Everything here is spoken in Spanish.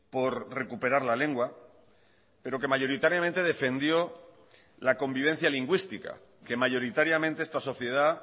por recuperar la lengua pero que mayoritariamente defendió la convivencia lingüística que mayoritariamente esta sociedad